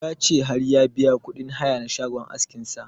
Ya ce har ya biya kuɗin haya na shagon askin sa